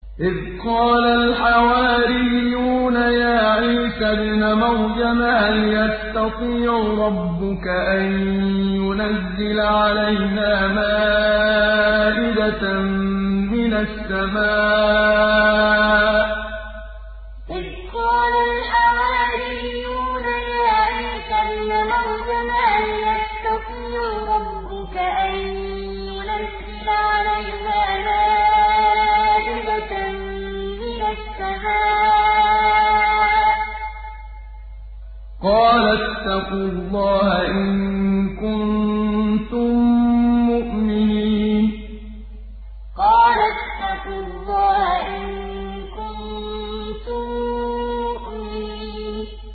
إِذْ قَالَ الْحَوَارِيُّونَ يَا عِيسَى ابْنَ مَرْيَمَ هَلْ يَسْتَطِيعُ رَبُّكَ أَن يُنَزِّلَ عَلَيْنَا مَائِدَةً مِّنَ السَّمَاءِ ۖ قَالَ اتَّقُوا اللَّهَ إِن كُنتُم مُّؤْمِنِينَ إِذْ قَالَ الْحَوَارِيُّونَ يَا عِيسَى ابْنَ مَرْيَمَ هَلْ يَسْتَطِيعُ رَبُّكَ أَن يُنَزِّلَ عَلَيْنَا مَائِدَةً مِّنَ السَّمَاءِ ۖ قَالَ اتَّقُوا اللَّهَ إِن كُنتُم مُّؤْمِنِينَ